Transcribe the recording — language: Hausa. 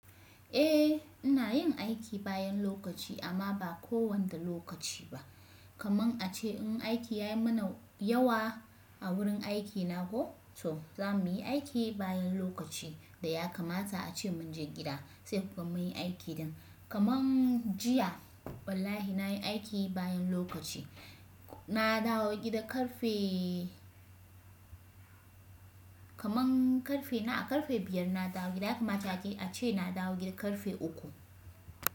Eh ina yin aiki bayan lokaci amma ba kowanda lokaci ba. Kamun ace in aiki ya yi mana yawa a wurin aikina ko so za mu yi aiki bayan lokaci da ya kamata ace mun je gida sai kukan muyi aikin din. Kamun jiya wallahi nayi aiki bayan lokaci. Na dawo gida karfe kaman karfe na a karfe biyar na dawo gida haka mata ace na dawo gida karfe uku.